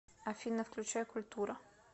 афина включай культура